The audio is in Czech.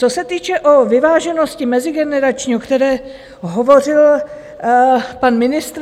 Co se týče vyváženosti mezigenerační, o které hovořil pan ministr.